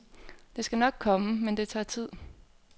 Det skal nok komme, men det tager tid.